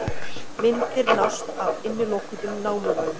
Myndir nást af innilokuðum námumönnum